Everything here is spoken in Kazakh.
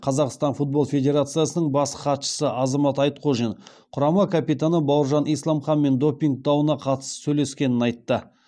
қазақстан футбол федерациясының бас хатшысы азамат айтқожин құрама капитаны бауыржан исламханмен допинг дауына қатысты сөйлескенін айтты